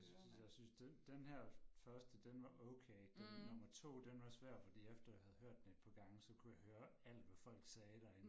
Jeg synes jeg synes den den her første den var okay det nummer 2 den var svær fordi efter jeg havde den et par gange så kunne jeg høre alt hvad folk sagde derinde